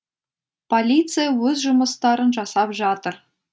полиция өз жұмыстарын жасап жатыр